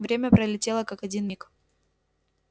время пролетело как один миг